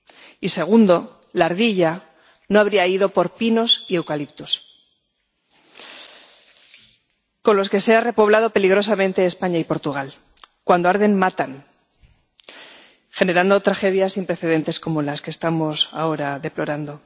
y, segundo, la ardilla no habría ido por pinos y eucaliptos, con los que se han repoblado peligrosamente España y Portugal cuando arden, matan, generando tragedias sin precedentes como las que estamos ahora deplorando.